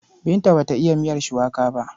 Binta ba ta iya miyar shuwaka ba.